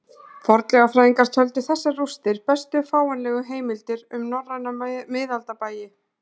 Fornleifafræðingar töldu þessar rústir bestu fáanlegu heimildir um norræna miðaldabæi